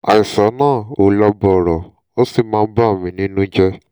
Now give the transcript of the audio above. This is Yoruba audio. àìsàn náà ò lọ bọ̀rọ̀ ó sì ń bà mí nínú jẹ́